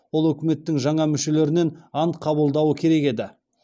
ол үкіметтің жаңа мүшелерінен ант қабылдауы керек еді